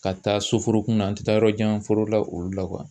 Ka taa soforokun na an tɛ taa yɔrɔ jan foro la olu la